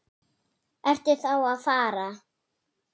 Ertu þá að fara?